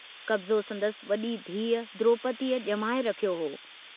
कब्ज़ो संदसि वडी धीउ द्रोपदीअ जमाए रखियो हो।